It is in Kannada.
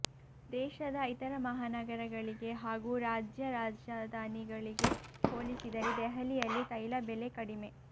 ದೇಶದ ಇತರ ಮಹಾನಗರಗಳಿಗೆ ಹಾಗೂ ರಾಜ್ಯ ರಾಜಧಾನಿಗಳಿಗೆ ಹೋಲಿಸಿದರೆ ದೆಹಲಿಯಲ್ಲಿ ತೈಲ ಬೆಲೆ ಕಡಿಮೆ